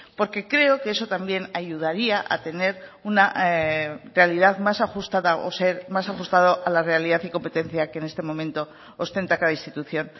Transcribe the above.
porque creo que eso también ayudaría a tener una realidad más ajustada o ser más ajustado a la realidad y competencia que en este momento ostenta cada institución